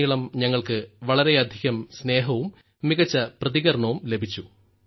രാജ്യത്തുടനീളം ഞങ്ങൾക്ക് വളരെയധികം സ്നേഹവും മികച്ച പ്രതികരണവും ലഭിച്ചു